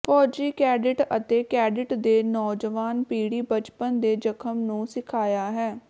ਫੌਜੀ ਕੈਡਿਟ ਅਤੇ ਕੈਡਿਟ ਦੇ ਨੌਜਵਾਨ ਪੀੜ੍ਹੀ ਬਚਪਨ ਦੇ ਜ਼ਖਮ ਨੂੰ ਸਿਖਾਇਆ ਹੈ